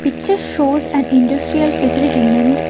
Pictures shows an industrial facility named --